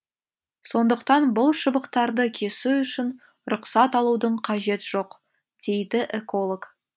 сондықтан бұл шыбықтарды кесу үшін рұқсат алудың қажет жоқ дейді эколог